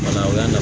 O y'a